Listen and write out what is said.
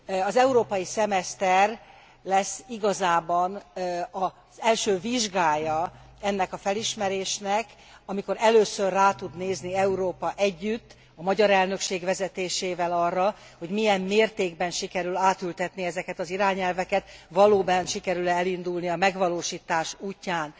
Az európai szemeszter lesz igazában az első vizsgája ennek a felismerésnek, amikor először rá tud nézni Európa együtt a magyar elnökség vezetésével arra, hogy milyen mértékben sikerül átültetni ezeket az irányelveket, valóban sikerül e elindulni a megvalósítás útján.